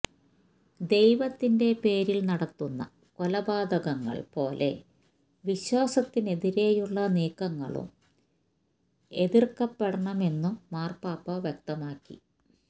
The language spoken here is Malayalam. ദൈവത്തിന്റെ പേരില് നടത്തുന്ന കൊലപാതകങ്ങള് പോലെ വിശ്വാസത്തിനെതിരെയുള്ള നീക്കങ്ങളും എതിര്ക്കപ്പെടണമെന്നും മാര്പ്പാപ്പ വ്യക്തമാക്കി